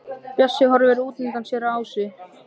Bjössi horfir útundan sér á Ásu.